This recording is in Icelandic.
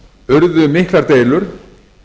urðu miklar deilur